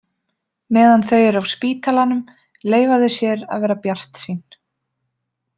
Meðan þau eru á spítalanum leyfa þau sér að vera bjartsýn.